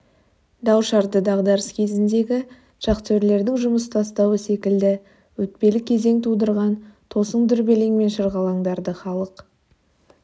дау-шарды дағдарыс кезіндегі шахтерлердің жұмыс тастауы секілді өтпелі кезең тудырған тосын дүрбелең мен шырғалаңдарды халық